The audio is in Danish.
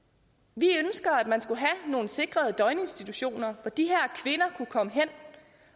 vi ønsker at man skulle have nogle sikrede døgninstitutioner hvor de her kvinder kunne komme hen